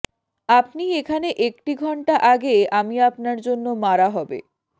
আপনি এখানে একটি ঘন্টা আগে আমি আপনার জন্য মারা হবে